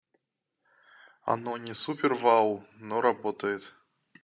оно не супер вау но работает